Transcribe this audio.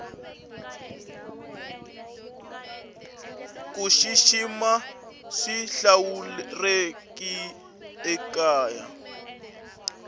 kushishima swihlawurekile ekaya